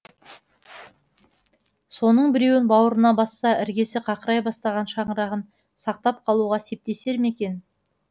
соның біреуін бауырына басса іргесі қақырай бастаған шаңырағын сақтап қалуға септесер ме екен